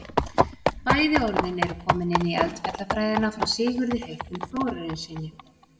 Bæði orðin eru komin inn í eldfjallafræðina frá Sigurði heitnum Þórarinssyni.